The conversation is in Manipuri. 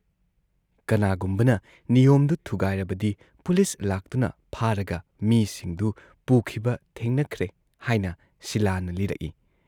ꯀꯅꯥꯒꯨꯝꯕꯅ ꯅꯤꯌꯣꯝꯗꯨ ꯊꯨꯒꯥꯏꯔꯕꯗꯤ ꯄꯨꯂꯤꯁ ꯂꯥꯛꯇꯨꯅ ꯐꯥꯔꯒ ꯃꯤꯁꯤꯡꯗꯨ ꯄꯨꯈꯤꯕ ꯊꯦꯡꯅꯈ꯭ꯔꯦ " ꯍꯥꯏꯅ ꯁꯤꯂꯥꯅ ꯂꯤꯔꯛꯏ ꯫